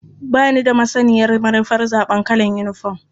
Ba ni da masaniyar manufar zaɓar kalar yinifom.